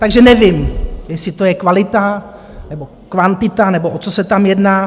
Takže nevím, jestli to je kvalita, nebo kvantita, nebo o co se tam jedná.